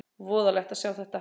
Voðalegt að sjá þetta!